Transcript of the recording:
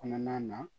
Kɔnɔna na